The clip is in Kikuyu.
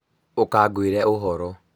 ũka ngwĩre ũhoro